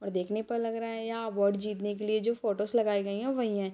और देखने पर लग रहा यह अवार्ड जितने के लिए जो फोटोज लगाई गई हैं वही हैं।